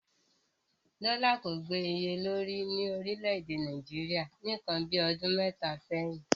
Dọ́là kò gbè iye lórí ní orílẹ̀-èdè Nàìjíríà ní ǹkan bíi ọdún mẹ́ta sẹ́yìn.